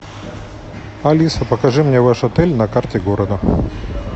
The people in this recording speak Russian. алиса покажи мне ваш отель на карте города